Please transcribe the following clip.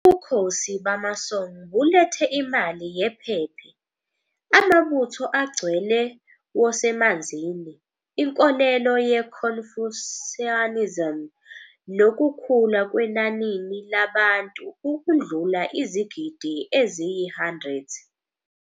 Ubukhosi bamaSong bulethe imali yephephe, amabutho agcwele wosemanzini, inkolelo ye-Confucianism nokukhula kwenanini labantu ukundlula izigidi eziyi-100.